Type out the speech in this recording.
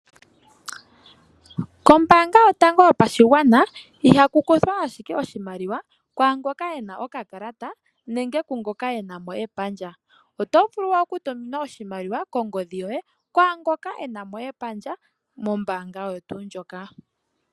Kombaanga yotango yopashigwana ihaku kuthwa ashike oshimaliwa kwaangoka ena okakalata nenge kungoka ena mo epandja. Otovulu okutuminwa oshimaliwa kongodhi yoye kwaangoka ena mo epandja mombaanga oyo tuu ndjoka.